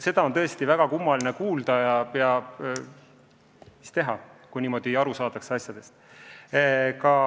Seda on tõesti väga kummaline kuulda, aga mis teha, kui asjadest niimoodi aru saadakse.